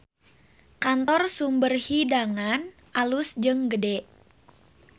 Kantor Sumber Hidangan alus jeung gede